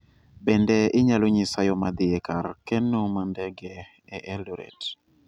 Bende inyalo nyisa yo ma dhi e kar keno ma ndege e Eldoret